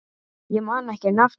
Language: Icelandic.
Ég man ekki nafnið.